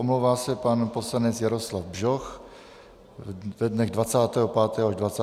Omlouvá se pan poslanec Jaroslav Bžoch ve dnech 25. až 26. z důvodu nemoci.